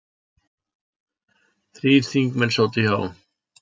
Þrír þingmenn sátu hjá